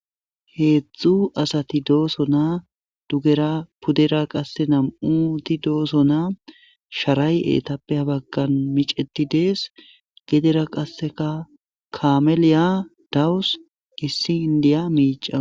Heezzu asati doosonaa. Dugera pudera qasse namu doosonaa. Sharay etappe ha baggan miceti dees. Gedera qasseka kameliya dawus. Issi indiya miicawusu.